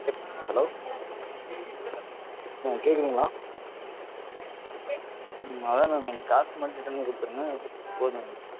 hello madam கேக்குதுங்களா? அதான் madam எனக்கு காசு மட்டும் return குடுத்துருங்க போதும் எனக்கு